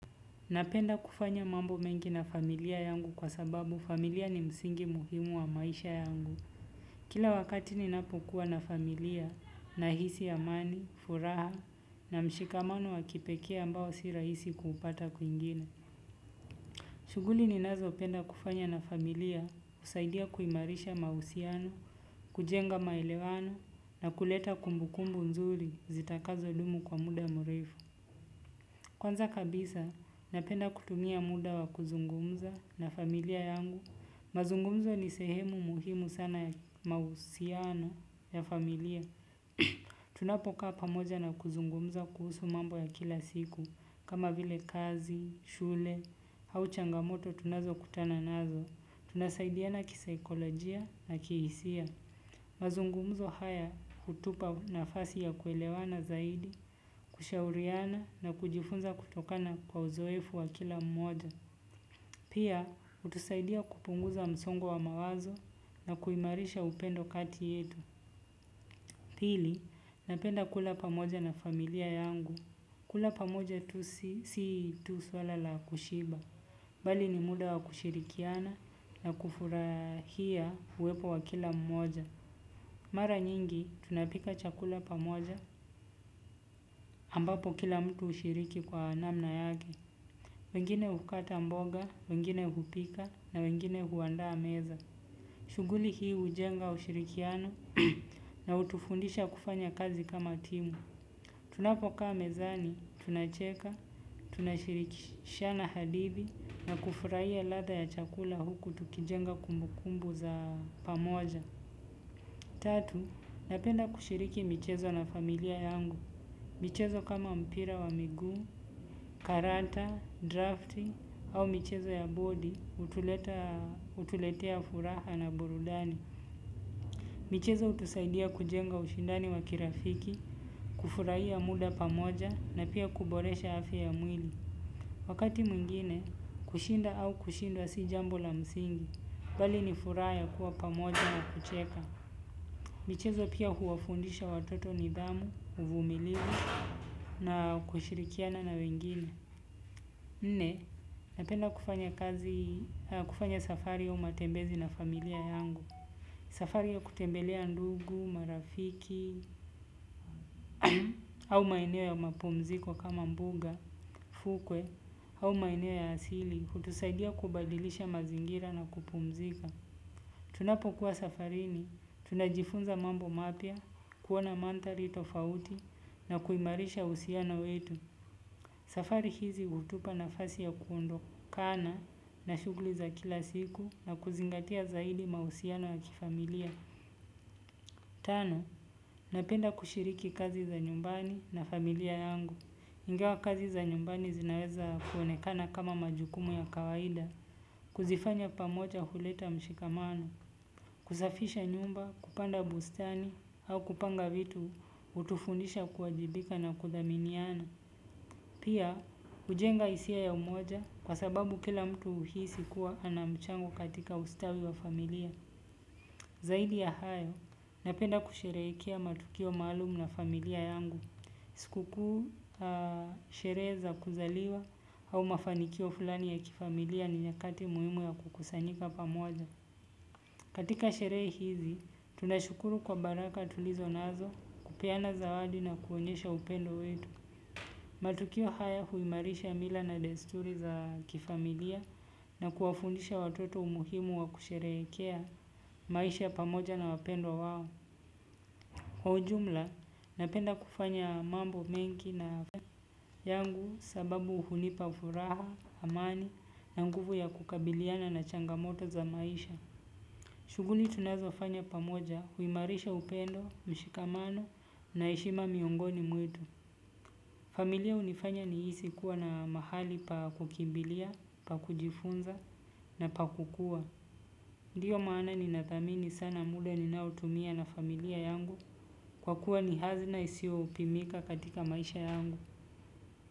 Napenda kufanya mambo mengi na familia yangu kwa sababu familia ni msingi muhimu wa maisha yangu. Kila wakati ninapokuwa na familia nahisi amani, furaha na mshikamano wa kipekee ambao si rahisi kuupata kwingine. Shughuli ninazopenda kufanya na familia husaidia kuimarisha mahusiano, kujenga maelewano na kuleta kumbukumbu nzuri zitakazodumu kwa muda mrefu. Kwanza kabisa, napenda kutumia muda wa kuzungumza na familia yangu. Mazungumzo ni sehemu muhimu sana ya mahusiana ya familia. Tunapokaa pamoja na kuzungumza kuhusu mambo ya kila siku. Kama vile kazi, shule, au changamoto tunazokutana nazo. Tunasaidiana kisaikolojia na kihisia. Mazungumzo haya hutupa nafasi ya kuelewana zaidi, kushauriana na kujifunza kutokana kwa uzoefu wa kila mmoja. Pia, hutusiadia kupunguza msongo wa mawazo, na kuimarisha upendo kati yetu. Pili, napenda kula pamoja na familia yangu. Kula pamoja tu si tu swala la kushiba bali ni muda wa kushirikiana na kufurahia uwepo wa kila mmoja. Mara nyingi, tunapika chakula pamoja, ambapo kila mtu hushiriki kwa anamna yake. Wengine hukata mboga, wengine hupika na wengine huandaa meza. Shughuli hii hujenga ushirikiano na hutufundisha kufanya kazi kama timu. Tunapokaa mezani, tunacheka, tunashirikishana hadithi na kufurahia ladha ya chakula huku tukijenga kumbukumbu za pamoja. Tatu, napenda kushiriki michezo na familia yangu. Michezo kama mpira wa miguu, karata, drafti au mchezo ya boli, hutuletea furaha na burudani. Michezo hutusaidia kujenga ushindani wa kirafiki, kufurahia muda pamoja na pia kuboresha afya ya mwili. Wakati mwingine, kushinda au kushindwa sijambo la msingi, bali ni furaha ya kuwa pamoja na kucheka. Michezo pia huwafundisha watoto nidhamu, uvumilivu na kushirikiana na wengine. Nne, napenda kufanya kufanya safari au matembezi na familia yangu. Safari ya kutembelea ndugu, marafiki, au maeneo ya mapumziko kama mbuga, fukwe, au maeneo ya asili, hutusaidia kubadilisha mazingira na kupumzika. Tunapokuwa safarini, tunajifunza mambo mapya, kuona manthari tofauti na kuimarisha uhusiano wetu. Safari hizi hutupa nafasi ya kuondokana na shughuli za kila siku na kuzingatia zaidi mahusiano ya kifamillia. Tano, napenda kushiriki kazi za nyumbani na familia yangu. Ingawa kazi za nyumbani zinaweza kuonekana kama majukumu ya kawaida. Ambapo kila mtu hushiriki kwa namna yake. Wengine hukata mboga, wengine hupika na wengine huandaa meza. Pia, hujenga hisia ya umoja kwa sababu kila mtu uhisi kuwa ana mchango katika ustawi wa familia. Zaidi ya hayo, napenda kusherehekea matukio maalum na familia yangu. Siku kuu sherehe za kuzaliwa au mafanikio fulani ya kifamilia ni nyakati muhimu ya kukusanika pamoja. Katika sherehe hizi, tunashukuru kwa baraka tulizo nazo kupeana zawadi na kuonyesha upendo wetu. Matukio haya huimarisha mila na desturi za kifamilia na kuwafundisha watoto umuhimu wa kusherehekea maisha pamoja na wapendwa wao. Kwa ujumla napenda kufanya mambo mengi na yangu sababu hunipa furaha, amani na nguvu ya kukabiliana na changamoto za maisha. Shughuli tunazofanya pamoja huimarisha upendo, mshikamano na heshima miongoni mwetu. Familia hunifanya nihisi kuwa na mahali pa kukimbilia, pa kujifunza na pa kukua. Ndiyo maana ninathamini sana muda ninaotumia na familia yangu kwa kuwa ni hazina isio pimika katika maisha yangu.